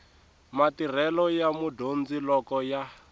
matirhelo ya mudyondzi loko ya